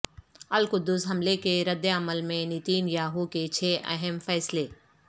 القدس حملے کے رد عمل میں نیتن یاھو کے چھ اہم فیصلے